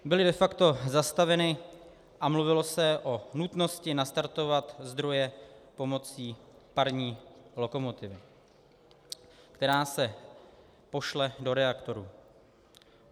Byly de facto zastaveny a mluvilo se o nutnosti nastartovat zdroje pomocí parní lokomotivy, která se pošle do reaktoru.